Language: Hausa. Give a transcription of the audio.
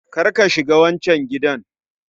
Kar ka shiga wancan gidan